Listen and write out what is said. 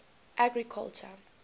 agriculture